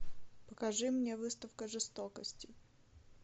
покажи мне выставка жестокости